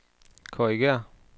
korrigér